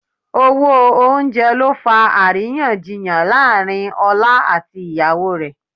Owó oúnjẹ ló fa àríyànjiyàn láàrín ọlá àti ìyàwó rẹ̀